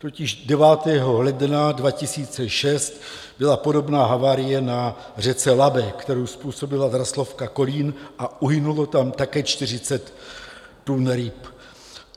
Totiž 9. ledna 2006 byla podobná havárie na řece Labi, kterou způsobila Draslovka Kolín, a uhynulo tam také 40 tun ryb.